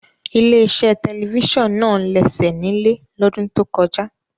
Ilé-iṣẹ́ television náà lẹ́sẹ̀ nílẹ̀ lọ́dún tó kọjá.